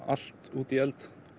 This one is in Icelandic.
allt úti í eld